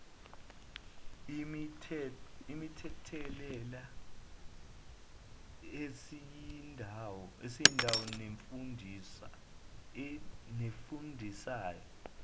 imithelela esindayo nefundisa